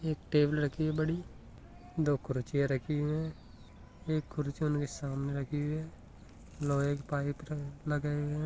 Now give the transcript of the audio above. एक टेबल राखी है बड़ी दो कुर्सीया राखी है एक कुर्सी साम राखी है लोह का पाइप है।